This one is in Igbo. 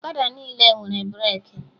Ọkada niile nwere breki